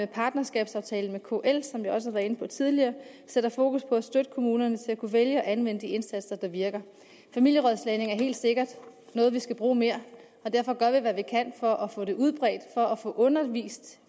partnerskabsaftalen med kl som vi også har været inde på tidligere sætter fokus på at støtte kommunerne til at kunne vælge at anvende de indsatser der virker familierådslagning er helt sikkert noget vi skal bruge mere derfor gør vi hvad vi kan for at få det udbredt og få undervist